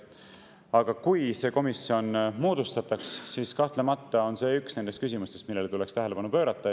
Aga kui see komisjon moodustatakse, siis kahtlemata on see üks nendest küsimustest, millele tuleks tähelepanu pöörata.